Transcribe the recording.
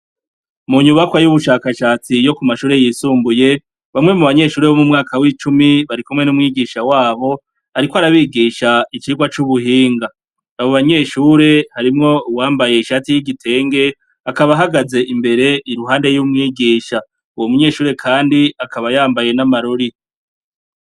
Mu nyubakwa y'ubushakashatsi yo ku mashure y'isumbuye, bamwe mu banyeshure bo mu mwaka w'icumi barikumwe n'umwigisha wabo, ariko arabigisha icigwa c'ubuhinga, abo banyeshure harimwo uwambaye ishati y'igitenge akaba ahagaze imbere iruhande y'umwigisha, uwo munyeshure kandi akaba yambaye n'amarori.